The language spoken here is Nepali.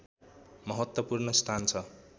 महत्त्वपूर्ण स्थान छ